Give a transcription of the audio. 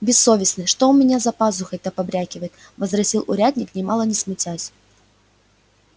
бессовестный что у меня за пазухой-то побрякивает возразил урядник нимало не смутясь